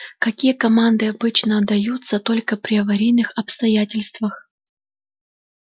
какие команды обычно отдаются только при аварийных обстоятельствах